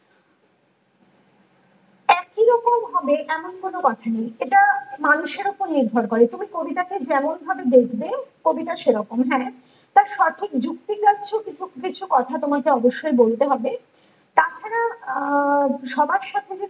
একই রকম হবে এমন কোনো কথা নেই ।এটা মানুষের ওপর নির্ভর করে ।তুমি কবিতাটা যেমন ভাবে দেখবে কবিতা সেরকম হ্যাঁ তার সঠিক যুক্তি যাচ্ছো কিছু কিছু কথা তোমাকে অবশ্যই বলতে হবে । তাছাড়া আহ সবার সাথে যে